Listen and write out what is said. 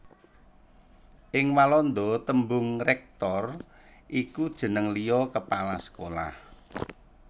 Ing Walanda tembung rector iku jeneng liya kepala sekolah